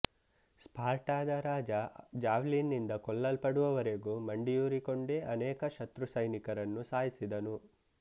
ಸ್ಪಾರ್ಟಾದ ರಾಜ ಜಾವ್ಲಿನ್ ನಿಂದ ಕೊಲ್ಲಲ್ಪಡುವವರೆಗು ಮಂಡಿಯೂರಿಕೊಂಡೆ ಅನೇಕ ಶತ್ರು ಸೈನಿಕರನ್ನು ಸಾಯಿಸಿದನು